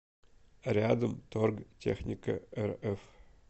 рядом торгтехникарф